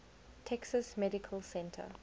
texas medical center